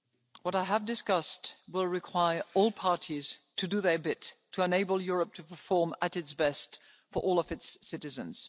What I have discussed will require all parties to do their bit to enable Europe to perform at its best for all of its